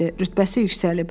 Rütbəsi yüksəlib.